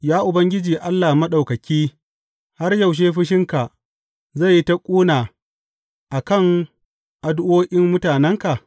Ya Ubangiji Allah Maɗaukaki, har yaushe fushinka zai yi ta ƙuna a kan addu’o’in mutanenka?